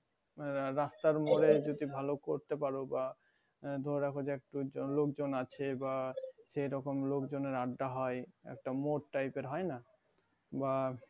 আহ রাস্তার মোরেই যদি ভালো করতে পারো বা আহ ধরে রাখো যে খুব লোকজন আছে বা সেই রকম লোকজনের আড্ডা হয় একটা মোর typer হয় না বা